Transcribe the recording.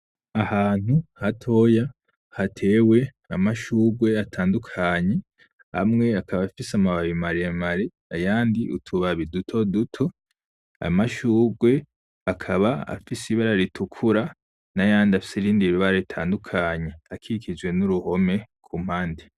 Ahantu hatoya hatewe amashurwe atandukanye amwe akaba afise amababi maremare, ayandi utubabi dutoduto. Amashurwe akaba afise ibara ritukura n'ayandi afise irindi bara ritandukanye akikijwe n'uruhome kumpande.